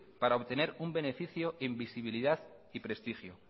para obtener un beneficio invisibilidad y prestigio